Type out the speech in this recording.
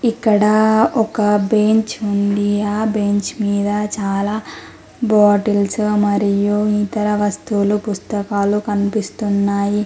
ఇక్కడ ఒక బెంచ్ ఉంది ఆ బెంచ్ మీద చాలా బాటిల్స్ మరియు ఇతర వస్తువులు పుస్తకాలు కనిపిస్తున్నాయి.